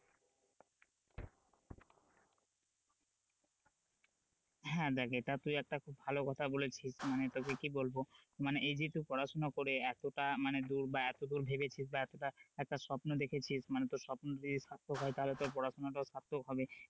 হ্যাঁ, দেখ এটা তুই একটা খুব ভালো কথা বলেছিস মানে তোকে কি বলবো মানে এই যেহেতু পড়াশোনা করে এতটা মানে দুর বা এতদূর ভেবেছিস বা এতটা একটা স্বপ্ন দেখেছিস মানে তোর স্পন টা যদি সার্থক হয় তাহলে তোর পড়াশোনাটাও সার্থক হবে,